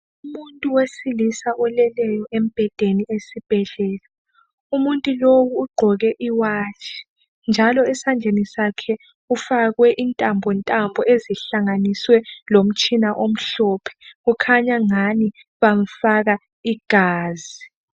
Umuntu wesilisa oleleyo embhedeni esibhedlela, umuntu lowu ugqoke iwatshi njalo esandleni sakhe kufakwe intambo ntambo ezihlanganiswe lomtshina omhlophe kukhanyangani bamfaka igazi.